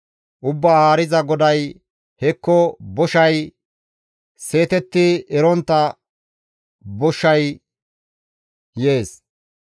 «Ubbaa Haariza GODAY, ‹Hekko Boshay! Seetetti erontta boshay› yees.